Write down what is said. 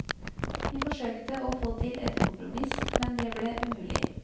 Vi forsøkte å få til et kompromiss, men det ble umulig.